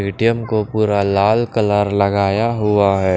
ए _T _M को पूरा लाल कलर लगाया हुआ हैं।